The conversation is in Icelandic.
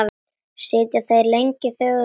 Sitja þeir lengi þögulir eftir.